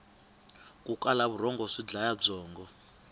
ku kala vurhongo swi dlaya byongo